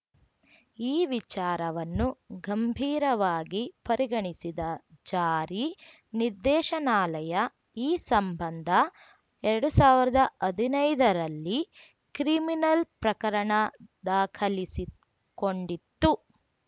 ಈ ವಿಚಾರವನ್ನು ಗಂಭೀರವಾಗಿ ಪರಿಗಣಿಸಿದ ಜಾರಿ ನಿರ್ದೇಶನಾಲಯ ಈ ಸಂಬಂಧ ಎರಡು ಸಾವಿರದ ಹದಿನೈದರಲ್ಲಿ ಕ್ರಿಮಿನಲ್‌ ಪ್ರಕರಣ ದಾಖಲಿಸಿಕೊಂಡಿತ್ತು